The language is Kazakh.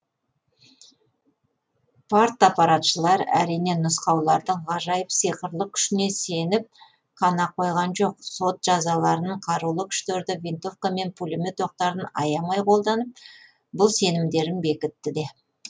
партаппаратшылар әрине нұсқаулардың ғажайып сиқырлы күшіне сеніп қана қойған жоқ сот жазаларын қарулы күштерді винтовка мен пулемет оқтарын аямай қолданып бұл сенімдерін бекітті де